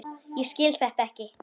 Ég skil þetta ekki!